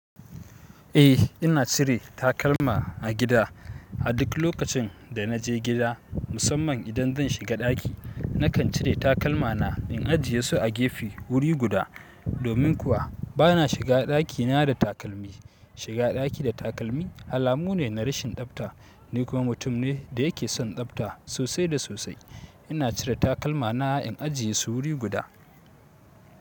Eh ina cire takalma a gida. A duk lokacin da naje gida musamman idan zan shiga daki nakan cire takalmana in ajiyesu a gefe wuri guda. Domin kuwa bana shiga ɗakina da takalmi. Shiga ɗaki da takalmi alamu ne na rashin tsabta ni kuma mutum ne da yake son tsabta sosai da sosai. Ina cire takalmana in ajiyesu wuri guda.